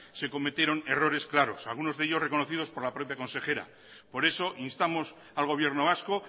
se cometieron errores claros algunos de ellos reconocidos por la propia consejera por eso instamos al gobierno vasco